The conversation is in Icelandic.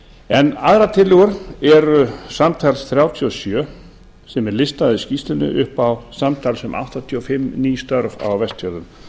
en aðrar tillögur eru samtals þrjátíu og sjö sem er listaðar í skýrslunni upp á samtals um áttatíu og sjö ný störf á vestfjörðum